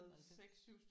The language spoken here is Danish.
95?